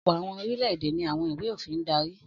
Ọ̀pọ̀ àwọn orílẹ̀-èdè ni àwọn ìwé-òfin ń darí.